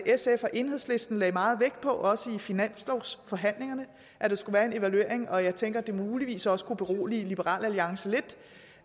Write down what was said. sf og enhedslisten lagde meget vægt på også i finanslovsforhandlingerne at der skulle være en evaluering og jeg tænker at det muligvis også kunne berolige liberal alliance lidt